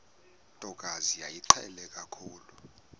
ntokazi yayimqhele kakhulu